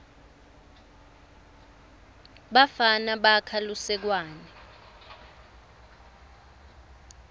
bafana bakha lusekwane